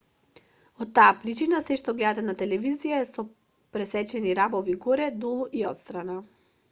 од таа причина сѐ што гледате на телевизија е со пресечени рабови горе долу и отстрана